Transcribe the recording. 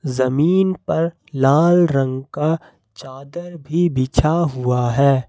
जमीन पर लाल रंग का चादर भी बिछा हुआ है।